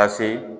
Ka se